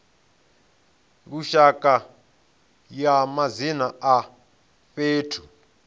lushaka ya madzina a fhethu